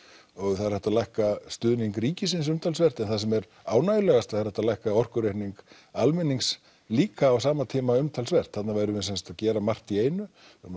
og það er hægt að lækka stuðning ríkisins umtalsvert en það sem er ánægjulegast er hægt að lækka orkureikning almennings líka á sama tíma umtalsvert þarna værum við sem sagt að gera margt í einu